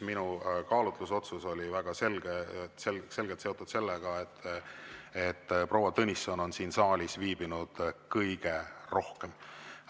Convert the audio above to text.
Minu kaalutlusotsus oli väga selgelt seotud sellega, et proua Tõnisson on siin saalis viibinud kõige rohkem.